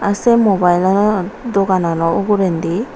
aa se Mobile anor dogan ano uguredi.